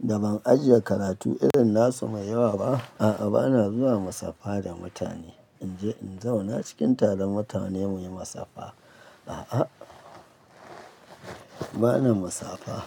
da ban ajiye karatu irin nasu mai yawa ba, a'a, ba na zuwa musaffa da mutane. In je in zauna cikin taron mutane muyi musaffa. A'a, ba na musafa.